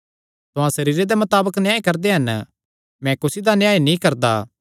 तुहां सरीरे दे मताबक न्याय करदे हन मैं कुसी दा न्याय नीं करदा